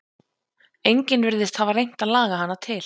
Enginn virðist hafa reynt að laga hana til.